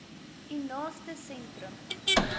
u naaste sentrum